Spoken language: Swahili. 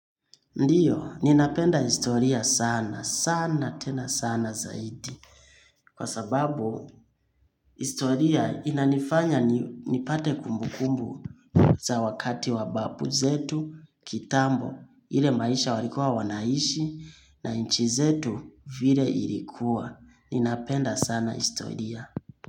Ndiyo, ninapenda historia sana, sana tena sana zaidi. Kwa sababu, historia inanifanya nipate kumbukumbu za wakati wa babu zetu, kitambo, ile maisha walikuwa wanaishi na nchi zetu vile ilikuwa. Ninapenda sana historia.